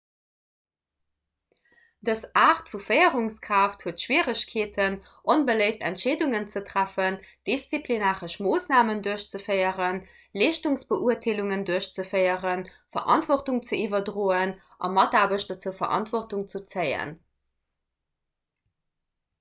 dës aart vu féierungskraaft huet schwieregkeeten onbeléift entscheedungen ze treffen disziplinaresch moossnamen duerchzeféieren leeschtungsbeurteelungen duerchzeféieren verantwortung ze iwwerdroen a mataarbechter zur verantwortung ze zéien